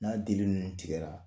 N'a dili ninnu tigɛra